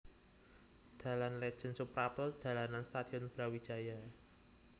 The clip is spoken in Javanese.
Dalan Lètjén Soeprapto dalanan Stadion Brawijaya